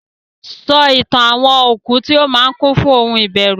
sọ Ìtàn okú tí ó máa kún fún ohun ìbẹ̀rùn.